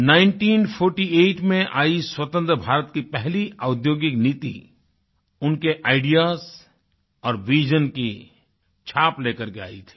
1948 में आई स्वतंत्र भारत की पहली औद्योगिक नीति उनके आईडीईएएस और विजन्स की छाप लेकर के आई थी